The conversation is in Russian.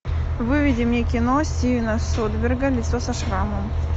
выведи мне кино стивена содерберга лицо со шрамом